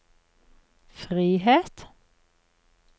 frihet